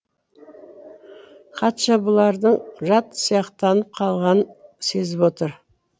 қатша бұлардың жат сияқтанып қалғанын сезіп отыр